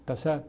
Está certo?